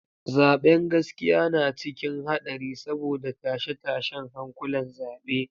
Zaben gaskiya na cikin hadari saboda tashe-tashen hankulan zabe.